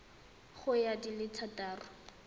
ya go di le thataro